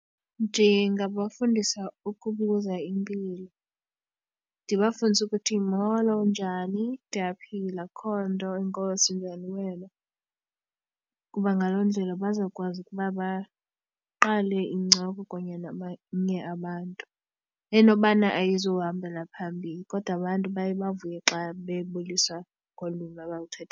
Ndingabafundisa ukubuza impilo, ndibafundise ukuthi molo unjani, ndiyaphila akho nto, enkosi, unjani wena. Kuba ngaloo ndlela bazokwazi ukuba baqale incoko kunye nabanye abantu, enobana ayizuhambela phambili kodwa abantu baye bavuye xa bebuliswa ngokolwimi abaluthe.